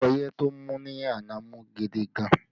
Ọyẹ́ tó mú ní àná mú gidi gan